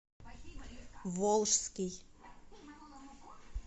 волжский